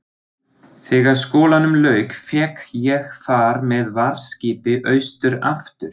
Þegar skólanum lauk fékk ég far með varðskipi austur aftur.